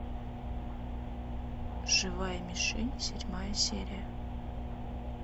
живая мишень седьмая серия